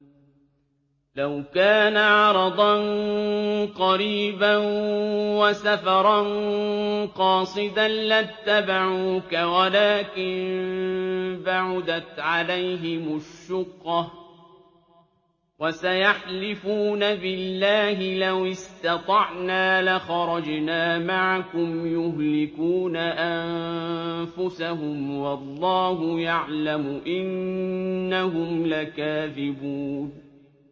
لَوْ كَانَ عَرَضًا قَرِيبًا وَسَفَرًا قَاصِدًا لَّاتَّبَعُوكَ وَلَٰكِن بَعُدَتْ عَلَيْهِمُ الشُّقَّةُ ۚ وَسَيَحْلِفُونَ بِاللَّهِ لَوِ اسْتَطَعْنَا لَخَرَجْنَا مَعَكُمْ يُهْلِكُونَ أَنفُسَهُمْ وَاللَّهُ يَعْلَمُ إِنَّهُمْ لَكَاذِبُونَ